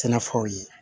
Sɛnɛfɛnw ye